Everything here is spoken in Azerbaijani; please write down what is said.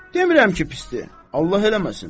Demirəm ki pisdir, Allah eləməsin.